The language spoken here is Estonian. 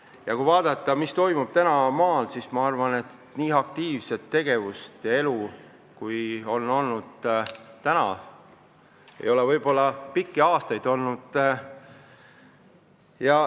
Ja kui vaadata, mis toimub praegu maal, siis ma arvan, et nii aktiivset tegevust ja elu ei ole võib-olla pikki aastaid olnud.